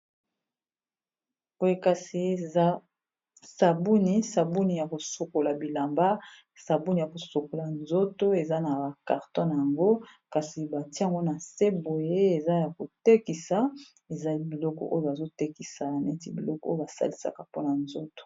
Boye kasi eza sabuni sabuni ya kosokola bilamba sabuni ya kosokola nzoto eza na ba carton nango kasi batiengo na se boye eza ya kotekisa ezali biloko oyo bazotekisa neti biloko oyo basalisaka mpona nzoto.